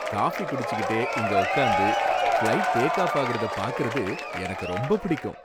Coffee குடிச்சிகிட்டே இங்க உக்காந்து, ஃப்ளைட் டேக் ஆஃப் ஆகுறத பாக்கறது எனக்கு ரொம்ப பிடிக்கும்.